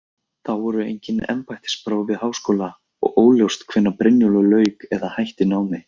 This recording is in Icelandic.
Þá voru engin embættispróf við háskóla og óljóst hvenær Brynjólfur lauk eða hætti námi.